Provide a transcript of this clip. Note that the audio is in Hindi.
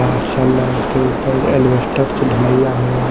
और सलार के ऊपर अल्वेस्टर से ढलाईया हो रहा--